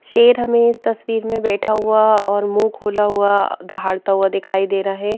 शेर हमें इस तस्वीर में बैठा हुआ और मुंह खोला हुआ दहाड़ता हुआ दिखाई दे रहा है।